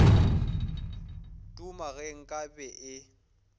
duma ge nka be e